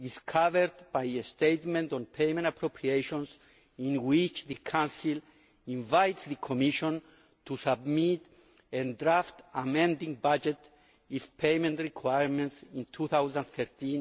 is covered by a statement on payment appropriations in which the Council invites the Commission to submit a draft amending budget if payment requirements in 2013